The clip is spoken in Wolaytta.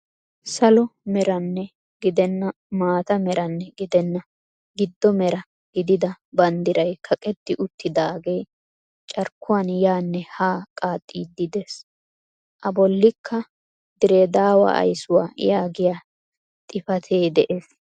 Salo meranne gidenna maata meranne gidenna gido mera gidida banddiray kaqetti uttidaagee carkkuwaan yaanne haa qaaxxiidi de'ees. A bollikka Diree daawa ayssuwaa yaagiyaa xifatee de'es.